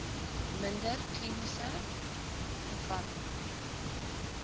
minder kliniese gevalle